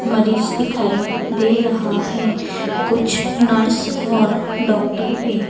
marriage दिखाई दे रहा है कुछ नर्स और डॉक्टर भी--